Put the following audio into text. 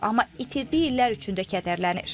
Amma itirdiyi illər üçün də kədərlənir.